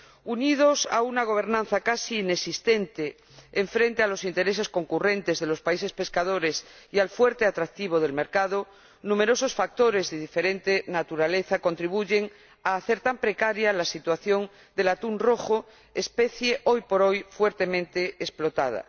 Unidos a una gobernación casi inexistente frente a los intereses concurrentes de los países pescadores y al fuerte atractivo del mercado, numerosos factores de diferente naturaleza contribuyen a hacer tan precaria la situación del atún rojo, especie, hoy por hoy, fuertemente explotada.